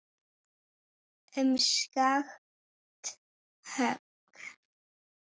Um skakkt högg